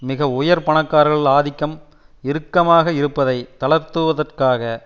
மிக உயர் பணக்காரர்கள் ஆதிக்கம் இறுக்கமாக இருப்பதை தளர்த்துவதற்காக